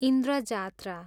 Indra Jatra